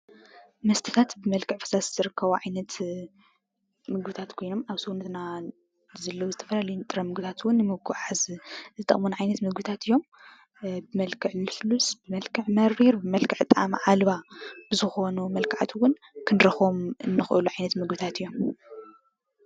መስተታት ብመልክዕ ፈሳሲ ዝርከቡ ዓይነት ምግብታት ኮይኖም ኣብ ሰውነትና ዘሎን ዝተፈላለዩን ንጥረ ነገራት እውን ንምጉዕዓዝ ዝጠቕሙና ዓይነት ምግብታት እዮም። ብመልክዕ ልስሉስ፣ ብመልክዕ መሪር ፣ ብመልክዕ ጣዕሚ አልባ ዝኾኑ መልክዓት እውን ክንረኸቦም ንኸእል ዓይነት ምግብታት እዮም ።